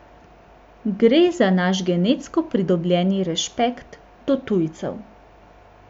Gre za naš genetsko pridobljeni rešpekt do tujcev.